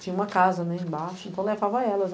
Tinha uma casa, né, embaixo, então levava elas.